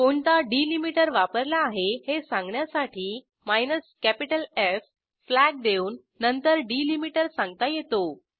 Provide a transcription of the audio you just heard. कोणता डिलिमीटर वापरला आहे हे सांगण्यासाठी कॅपिटल एफ फ्लॅग देऊन नंतर डिलिमीटर सांगता येतो